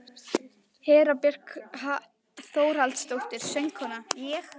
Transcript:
Hera Björk Þórhallsdóttir, söngkona: Ég?